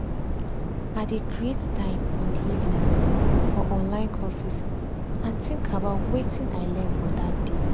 i dey create time in de evening for online courses and think about wetin i learn for dat day